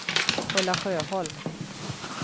Ulla Sjöholm